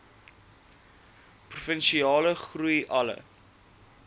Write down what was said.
provinsiale groei alle